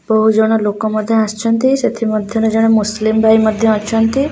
ବହୁତ ଜଣ ଲୋକ ମଧ୍ୟ ଆସିଚନ୍ତି ସେଥି ମଧ୍ୟରେ ଜଣେ ମୁସଲିମ ଭାଇ ମଧ୍ୟ ଅଛନ୍ତି।